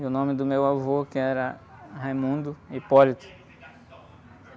E o nome do meu avô, que era.